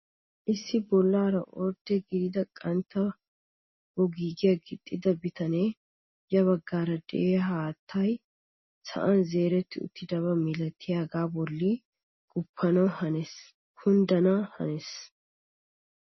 Issi bollaara ordde gidid qantta boggiyaa gixxida bitanee ya baggaara de'iyaa haattay sa'an zeretti uttidaba milatiyaaga bolli guppanawu haniyaagee kunddana hanees!